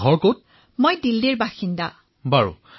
তৰন্নুম খানঃ মই দিল্লীত বাস কৰো মহাশয়